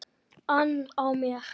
ann á mér.